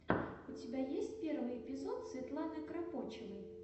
у тебя есть первый эпизод светланы кропочевой